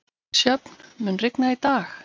Sjöfn, mun rigna í dag?